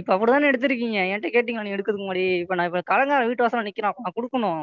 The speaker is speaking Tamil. இப்ப அப்படி தான எடுத்துருக்கீங்க என்கிட்ட கேட்டீங்களா? நீங்க எடுக்கறதுக்கு முன்னாடி இப்ப நான் கடன்காரன் வீட்டு வாசல்ல நிக்கிறான் நான் கொடுக்கணும்.